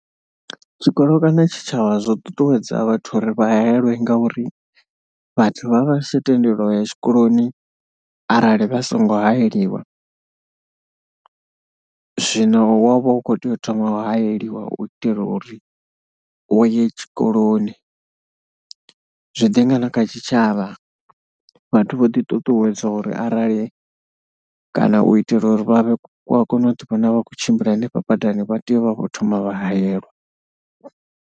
Zwikolo kana tshitshavha zwo ṱuṱuwedza vhathu uri vha haelwe ngauri vhathu vha vha si tsha tendeliwa u ya tshikoloni arali vha songo haeliwa. Zwino wo vha u khou tea u thoma wa haeliwa u itela uri u ye tshikoloni, zwi ḓi nga na kha tshitshavha vhathu vho ḓiṱuṱuwedzwa uri arali kana u itela uri vha vhe, wa kone u ḓiwana vha khou tshimbila henefha badani vha tea u vha vho thoma vha haelwa.